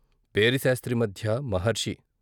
పేరి శాస్త్రి మద్య మహర్షి.